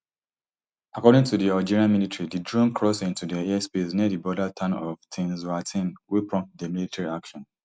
according to di algerian military di drone cross into dia airspace near di border town of tin zaouatine wey prompt di military action